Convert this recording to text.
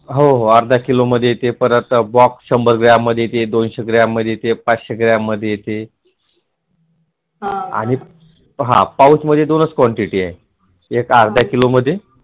हो हो अर्धा किलो मध्ये येते परत box शंभर ग्रॅममध्ये येते दोनशे ग्रॅममध्ये येते पाचशे ग्रॅममध्ये येते आणि हा Pouch मध्ये दोनच quantity आहे एक अर्धा किलो मध्ये